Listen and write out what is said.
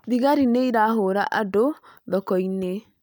Thigari nĩ irahũra andũ thoko-inĩ